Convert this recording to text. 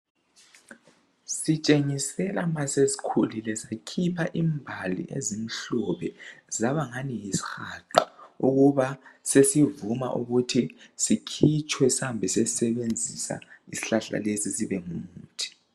Sitshengisela ma sesikhulile sikhipha imbali ezimhlophe saba ngani yisihaqa ukuba sesivuma ukuba sikhitshwe sihambe siysebenzisa isihlahla lesi sibe ngumuthi